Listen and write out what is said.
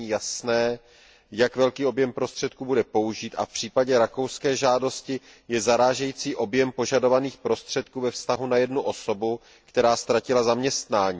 není jasné, jak velký objem prostředků bude použit, a v případě rakouské žádosti je zarážející objem požadovaných prostředků ve vztahu na jednu osobu, která ztratila zaměstnání.